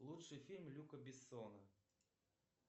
лучший фильм люка бессона